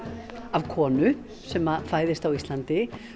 af konu sem fæðist á Íslandi